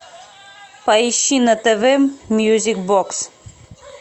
поищи на тв мьюзик бокс